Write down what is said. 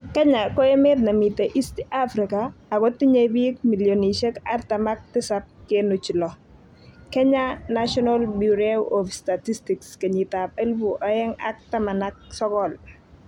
Kenya ko emet nemitei East Africa akotinyei biik milionishek artam ak tisab kenuch lo -Kenya National Bureau of Statistics kenyitab elebu oeng ak taman ak sokol